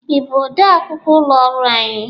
Ị bụ ọde akwụkwọ ụlọ ọrụ anyị?